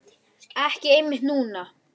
Ekki einmitt núna.